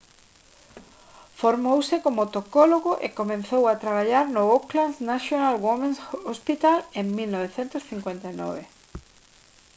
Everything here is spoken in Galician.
formouse como tocólogo e comezou a traballar no auckland's national women's hospital en 1959